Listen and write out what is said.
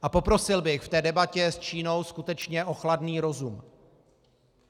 A poprosil bych v té debatě s Čínou skutečně o chladný rozum.